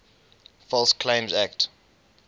false claims act